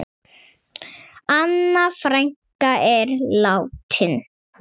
Anna frænka er látin.